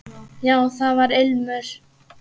Já, það var ilmur!